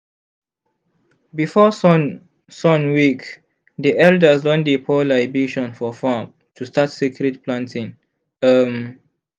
before sun sun wake di elders don dey pour libation for farm to start sacred planting. um